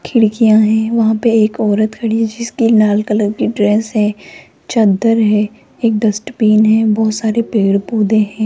खिड़कियां हैं वहां पे एक औरत खड़ी है जिसकी लाल कलर की ड्रेस है चद्दर है एक डस्टबिन है बहोत सारे पेड़ पौधे हैं।